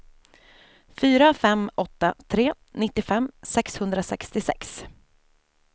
fyra fem åtta tre nittiofem sexhundrasextiosex